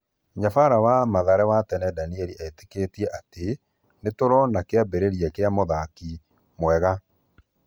Nyabara wa Mathare wa tene Danieri etĩkĩtie atĩ: nĩtũrona kĩambĩrĩria gĩa mũthaki mwega.